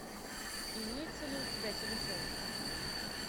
имеется ли у тебя телешоу